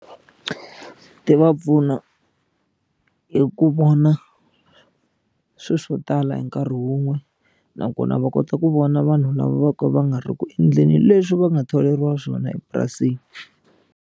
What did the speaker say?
Ti va pfuna hi ku vona swilo swo tala hi nkarhi wun'we nakona va kota ku vona vanhu lava vo ka va nga ri ku endleni leswi va nga tholeriwa swona epurasini.